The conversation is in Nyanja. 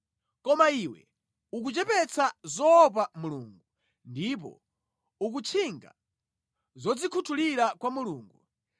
Koma iwe ukuchepetsa zoopa Mulungu ndipo ukutchinga zodzikhuthulira kwa Mulungu.